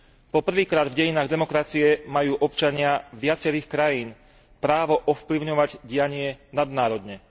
Po prvýkrát v dejinách demokracie majú občania viacerých krajín právo ovplyvňovať dianie nadnárodne.